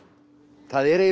það er eiginlega